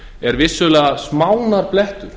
er vissulega smánarblettur